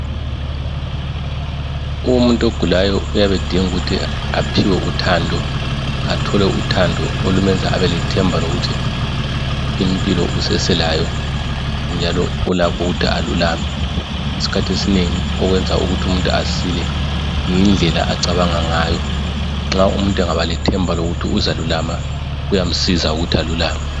Umuntu ogulayo uyabe edinga ukuthi aphiwe uthando. Athole uthando olumenza abelethemba lokuthi impilo usaselayo. Njalo ulakho ukuthi alulame. Isikhathi esinengi okwenza ukuthi umuntu asile yindlela acabanga ngayo. Nxa umuntu angaba lethemba lokuthi uzalulama kuya msiza ukuthi alulame.